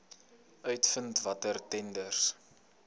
uitvind watter tenders